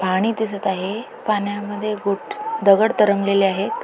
पाणी दिसत आहे पाण्यामध्ये गुप्प्त दगड तरंगलेले आहेत.